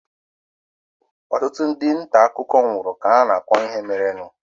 Ọtụtụ ndị nta akụkọ nwụrụ ka ha na-akọ ihe merenụ.